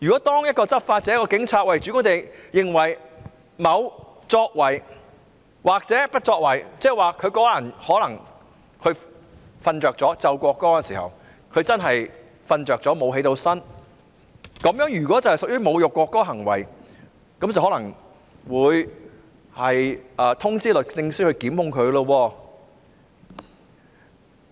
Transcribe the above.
當一位執法者或警員主觀地認為某作為或不作為屬侮辱國歌行為，例如某人可能在奏唱國歌時睡着了，沒有醒過來，如果這屬於侮辱國歌的行為，便可能會通知律政司檢控他。